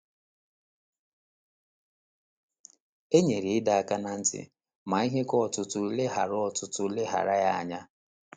E nyere ịdọ aka ná ntị, ma ihe ka ọtụtụ leghaara ọtụtụ leghaara ya anya.